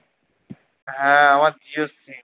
হ্যাঁ আমার জিওর sim